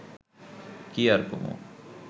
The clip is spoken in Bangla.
কি আর কমু